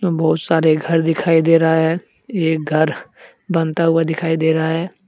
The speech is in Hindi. बहुत सारे घर दिखाई दे रहा है एक घर बनता हुआ दिखाई दे रहा है।